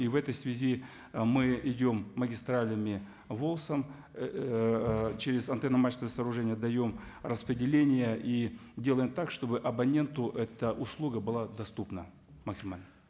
и в этой ы связи мы идем магистралями волс ом ыыы через антенно мачтовое сооружение даем распределение и делаем так чтобы абоненту эта услуга была доступна максимально